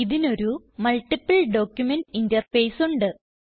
ഇതിന് ഒരു multiple document interface ഉണ്ട്